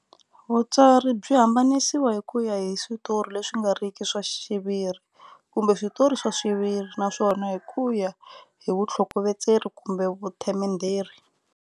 Vutsari byi hambanisiwa hikuya hi switori leswi ngariki swa xiviri, kumbe switori swaxiviri, naswona hi kuya hi vuthlokovetseri kumbe vuthemenderi.